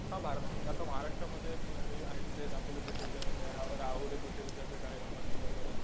हा आता महाराष्ट्रामध्ये मी आहे तिथे दापोली कृषी विद्यापीठ आहे. राहोरी कृषी विद्यापीठ आहे अहमदनगरमध्ये